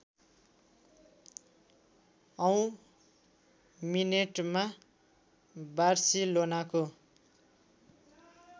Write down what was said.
औँ मिनेटमा बार्सिलोनाको